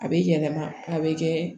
A bɛ yɛlɛma a bɛ kɛ